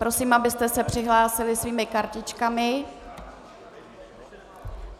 Prosím, abyste se přihlásili svými kartičkami.